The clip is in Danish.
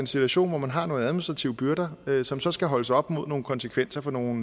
situation hvor man har nogle administrative byrder som så skal holdes op mod nogle konsekvenser for nogle